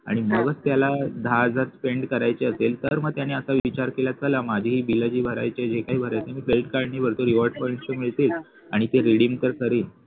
आणि मग त्याला दहा हजार spend करायचे असेल तर मग त्याने आता विचार केला असेल चल मग माझे बिल जे भरायचे आहे जे काही भरायचय ते मी credit card ने भरतो rewards point पण मिळतील आणि ते redeem पण करीन